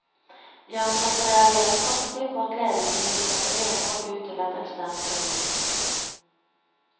De ansatte reagerer kraftig på at ledelsen vil sette renhold ut til et eksternt firma.